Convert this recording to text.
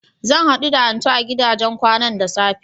Zan haɗu da Antu a gidajen kwanan da safe.